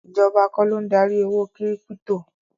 Ìjọba kọ́ ló ń darí owó kírípítò.